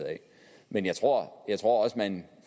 men jeg tror også man